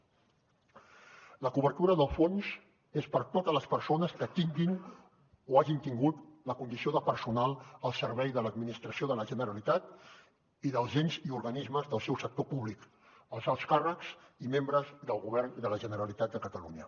la cobertura del fons és per a totes les persones que tinguin o hagin tingut la condició de personal al servei de l’administració de la generalitat i dels ens i organismes del seu sector públic els alts càrrecs i membres del govern de la generalitat de catalunya